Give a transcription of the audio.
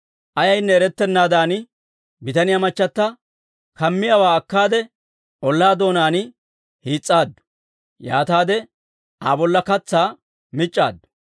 Ayaynne erettennaadan bitaniyaa machata kammiyaawaa akkaade ollaa doonaan hiis's'aaddu; yaataade Aa bolla katsaa mic'c'aaddu.